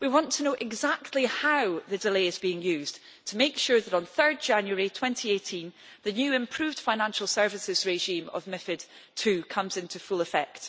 We want to know exactly how the delay is being used to make sure that on 3 January 2018 the new improved financial services regime of method 2 comes into full effect.